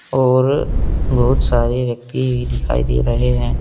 और बहुत सारे व्यक्ति भी दिखाई दे रहे हैं।